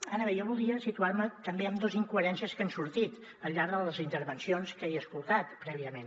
ara bé jo volia situar me també en dos incoherències que han sortit al llarg de les intervencions que he escoltat prèviament